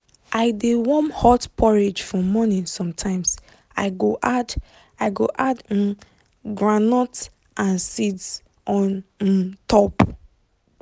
i dey warm hot porridge for morning sometimes i go add i go add um groundnut and seeds on um top.